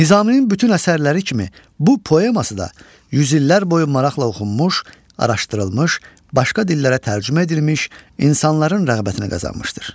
Nizaminin bütün əsərləri kimi bu poeması da yüz illər boyu maraqla oxunmuş, araşdırılmış, başqa dillərə tərcümə edilmiş, insanların rəğbətini qazanmışdır.